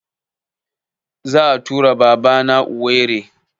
Za a tura Baba na Owerri